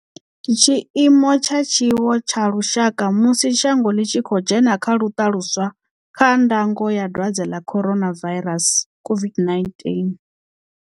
Tshiimo tsha Tshiwo tsha Lushaka musi shango ḽi tshi khou dzhena kha luṱa luswa kha ndango ya dwadze ḽa Coronavairasi COVID-19.